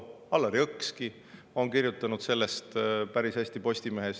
Allar Jõks on ka sellest Postimehes päris hästi kirjutanud.